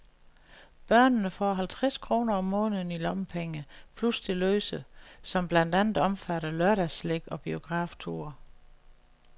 Børnene får halvtreds kroner om måneden i lommepenge, plus det løse, som blandt andet omfatter lørdagsslik og biografture.